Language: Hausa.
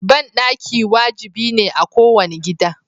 Banɗaki wajibi ne a kowane gida.